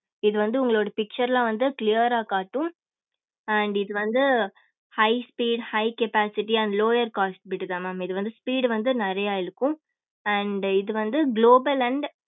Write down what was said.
இது வந்து உங்களோட picture ல வந்து clear ஆஹ் காட்டும் and இது வந்து high speed high capacity and lower capacity bit தான் mam இது வந்து speed வந்து நிறைய இழுக்கும் and இது வந்து global and